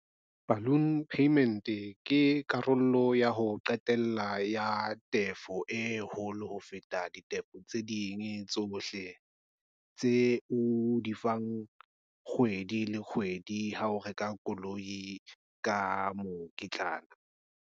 Balloon payment ke karolo ya ho qetela ya tefo e holo ho feta ditefo tse ding tsohle tse o di kgwedi le kgwedi ha o reka koloi ka mokitlana.